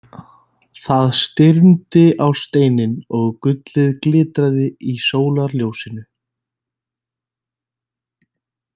Það stirndi á steininn og gullið glitraði í sólarljósinu.